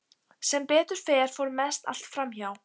Sem betur fer fór mest allt fram hjá.